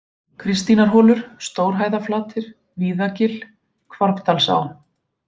Kristínarholur, Stórhæðaflatir, Víðagil, Hvarfdalsá